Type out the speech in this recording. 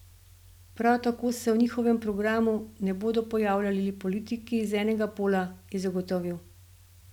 Prav tako se v njihovem programu ne bodo pojavljali le politiki z enega pola, je zagotovil.